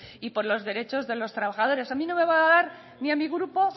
y por los derechos de los trabajadores a mí no me va a dar ni a mi grupo